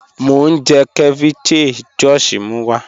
Mo n jẹ̀ ceviche Josh mú wa.